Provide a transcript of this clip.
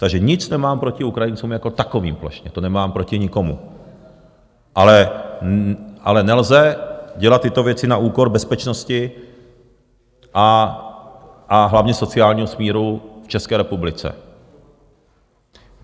Takže nic nemám proti Ukrajincům jako takovým, plošně nemám nic proti nikomu, ale nelze dělat tyto věci na úkor bezpečnosti, a hlavně sociálního smíru v České republice.